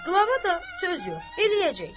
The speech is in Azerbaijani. Qlava da söz yox, eləyəcək.